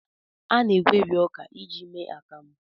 A na-egweri ọka iji mee akamụ.